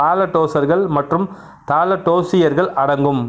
தாலடோசர்கள் மற்றும் தாலடோசூசியர்கள் அடங்கும்